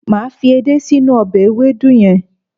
Màá fi èdé sí inú ọbẹ̀ ewédú yẹn